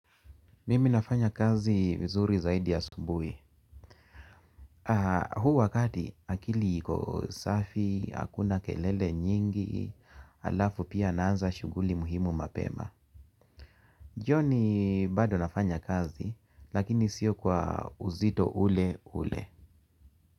Mimi nafanya kazi vizuri zaidi asubuhi. Huu wakati akili iko safi, hakuna kelele nyingi, alafu pia naanza shughuli muhimu mapema. Jioni bado nafanya kazi, lakini sio kwa uzito ule ule.